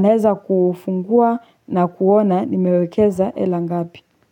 naeza kufungua na kuona nimewekeza hela ngapi.